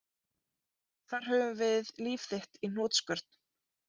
Þar höfum við líf þitt í hnotskurn